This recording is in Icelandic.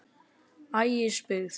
Ægisbyggð